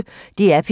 DR P1